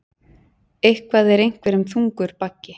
Eitthvað er einhverjum þungur baggi